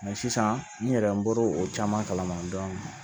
sisan n yɛrɛ n bɔra o caman kalama